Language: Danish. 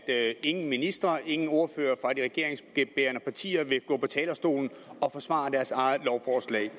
at ingen ministre ingen ordførere fra de regeringsbærende partier vil gå på talerstolen og forsvare deres eget lovforslag